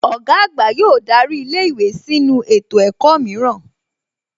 Ọ̀gá àgbà yóò darí ilé ìwé sínu ètò ẹ̀kọ́ mìíràn